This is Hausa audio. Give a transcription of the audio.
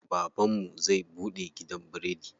Baban mu zai buɗe gidan biredi.